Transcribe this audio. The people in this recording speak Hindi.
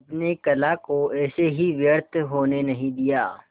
अपने कला को ऐसे ही व्यर्थ होने नहीं दिया